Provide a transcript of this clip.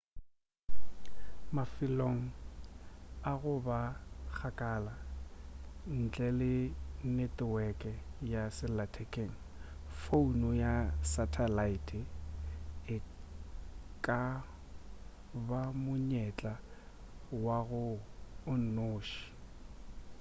mafelong a go ba kgakala ntle le neteweke ya sellathekeng founo ya sathalaete e ka ba monyetla wa gago o nnoši